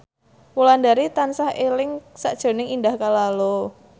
Wulandari tansah eling sakjroning Indah Kalalo